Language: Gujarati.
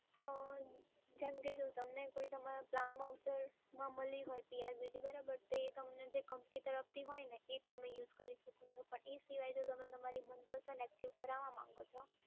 અમ જેમ કે જો તમને કોઈ તમારા પ્લાન વાઉચરમાં મલી હોય CRBT બરાબર, તે તમને જે કંપની તરફથી હોય ને એ જ તમે યુઝ કરી શકો છો, પણ જો એ સિવાય તમે તમારી મનપસંદ એક્ટિવ કરવા માંગો છો